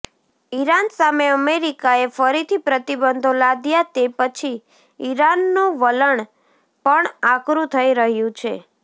Iran સામે અમેરિકાએ ફરીથી પ્રતિબંધો લાદ્યા તે પછી ઇરાનનું વલણ પણ આકરું થઈ રહ્યું છે